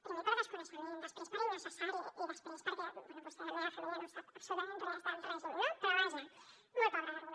primer per desconeixement després per innecessari i després perquè bé vostè de la meva família no en sap absolutament res del règim no però vaja molt pobra d’arguments